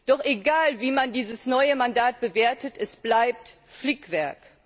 Doch egal wie man dieses neue Mandat bewertet es bleibt Flickwerk!